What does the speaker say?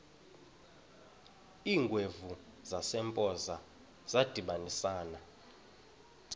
iingwevu zasempoza zadibanisana